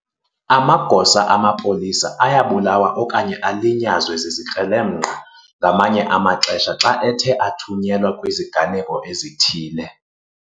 Amagosa amapolisa ayabulawa okanye alinyazwe zizikrelemnqa ngamanye amaxesha xa ethe athunyelwa kwiziganeko ezithile.